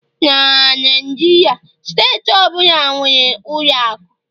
na Naijiria, steeti ọ bụla nwere ụlọ akụ